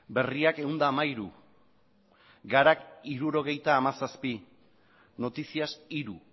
berriak ehun eta hamairu garak hirurogeita hamazazpi noticias hiru